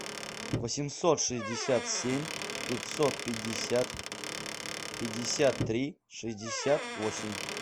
восемьсот шестьдесят семь пятьсот пятьдесят пятьдесят три шестьдесят восемь